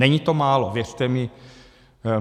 Není to málo, věřte mi.